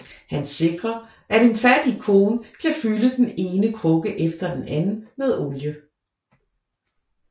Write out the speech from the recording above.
Han sikrer at en fattig kone kan fylde den ene krukke efter den anden med olie